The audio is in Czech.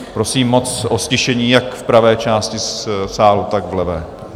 Prosím moc o ztišení jak v pravé části sálu, tak v levé.